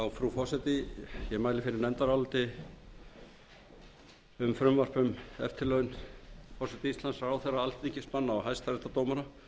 frú forseti ég mæli fyrir nefndaráliti um eftirlaun forseta íslands ráðherra alþingismanna og hæstaréttardómara